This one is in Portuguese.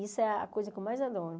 Isso é a coisa que eu mais adoro.